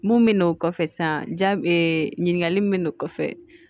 Mun bɛ n'o kɔfɛ san ja ɲininkali min bɛ n'o kɔfɛ